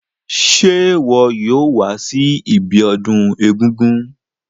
Se wo yóò wa si ibiodún egúngún